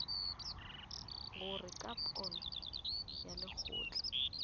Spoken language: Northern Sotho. gore ka pono ya lekgotla